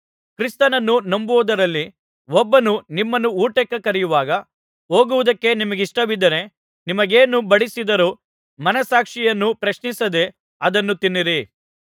ಕ್ರಿಸ್ತನನ್ನು ನಂಬದವರಲ್ಲಿ ಒಬ್ಬನು ನಿಮ್ಮನ್ನು ಊಟಕ್ಕೆ ಕರೆಯುವಾಗ ಹೋಗುವುದಕ್ಕೆ ನಿಮಗಿಷ್ಟವಿದ್ದರೆ ನಿಮಗೇನು ಬಡಿಸಿದರೂ ಮನಸ್ಸಾಕ್ಷಿಯನ್ನು ಪ್ರಶ್ನಿಸದೇ ಅದನ್ನು ತಿನ್ನಿರಿ